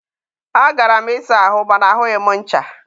a gara m ịsa ahụ ma na ahụghị m ncha.